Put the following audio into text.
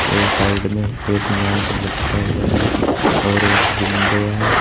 और साइड में एक मैप लटका हुआ है और एक विंडो है।